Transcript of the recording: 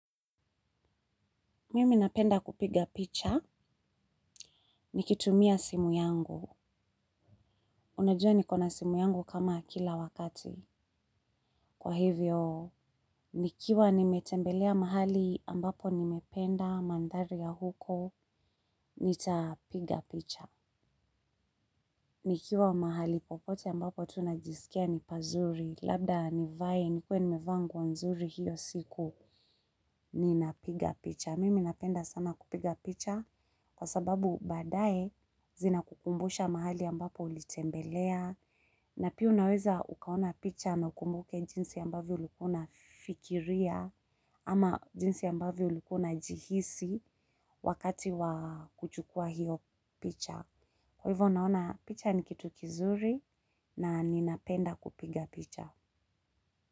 Mimi napenda kupiga picha, nikitumia simu yangu. Unajua nikona simu yangu kama kila wakati. Kwa hivyo, nikiwa nimetembelea mahali ambapo nimependa mandari ya huko, nitapiga picha. Nikiwa mahali popote ambapo tunajisikia ni pazuri, labda nivae, nikuwe nimevaa nguo nzuri hiyo siku, ninapiga picha. Mimi napenda sana kupiga picha kwa sababu badaye zinakukumbusha mahali ambapo ulitembelea na pia unaweza ukaona picha na ukumbuke jinsi ambayo ulikuwa unafikiria ama jinsi ambavyo ulikua unjihisi wakati wa kuchukua hiyo picha. Kwa hivyo naona picha ni kitu kizuri na ninapenda kupiga picha.